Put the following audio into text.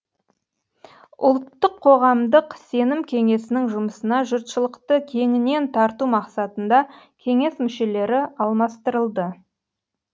ұлттық қоғамдық сенім кеңесінің жұмысына жұртшылықты кеңінен тарту мақсатында кеңес мүшелері алмастырылды